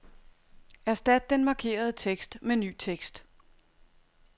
Erstat den markerede tekst med ny tekst.